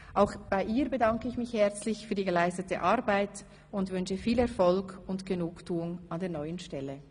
Auch bei ihr bedanke ich mich herzlich für die geleistete Arbeit und wünsche viel Erfolg und Genugtuung an der neuen Stelle.